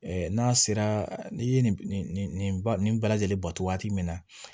n'a sera n'i ye nin nin nin bɛɛ lajɛlen ba to waati min na